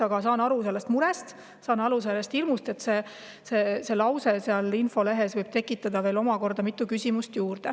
Aga saan aru sellest murest ja sellest hirmust, et see lause seal infolehes võib tekitada mitmeid küsimusi lisaks.